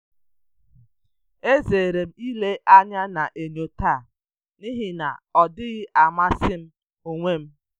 E zere m ile anya na enyo taa n'ihi na ọ dịghị amasị m onwe m.